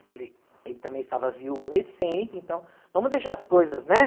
Eu falei, ele também estava viúvo recente, então vamos deixar as coisas, né?